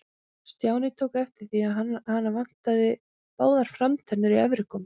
Stjáni tók eftir því að hana vantaði báðar framtennur í efri góm.